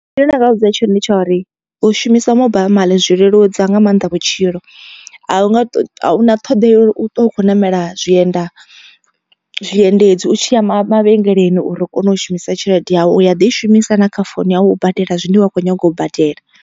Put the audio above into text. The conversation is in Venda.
Zwine nda nga vha vhudza tshone ndi tsha uri u shumisa mobile money zwi leludza nga maanḓa vhutshilo. A hunga a huna ṱhoḓea u ṱwa u kho ṋamela zwienda zwiendedzi u tshi ya mavhengeleni uri u kone u shumisa tshelede yau u ya ḓi i shumisa na kha founu yau u badela zwine wa khou nyaga u badela.